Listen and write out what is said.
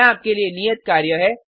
यहाँ आपके लिए नियत कार्य है